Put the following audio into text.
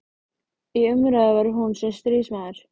Í umræðu var hún sem stríðsmaður.